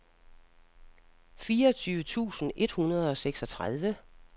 fireogtyve tusind et hundrede og seksogtredive